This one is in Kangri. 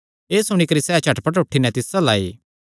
एह़ सुणी करी सैह़ झटपट उठी नैं तिस अल्ल आई